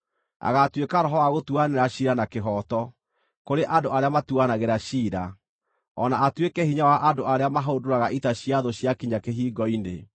Agaatuĩka roho wa gũtuanĩra ciira na kĩhooto kũrĩ andũ arĩa matuanagĩra ciira, o na atuĩke hinya wa andũ arĩa mahũndũraga ita cia thũ ciakinya kĩhingo-inĩ.